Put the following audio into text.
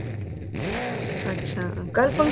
ਅੱਛਾ ਕੱਲ